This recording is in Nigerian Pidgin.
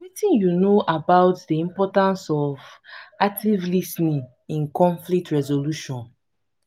wetin you know about di importance of active lis ten ing in conflict resolution?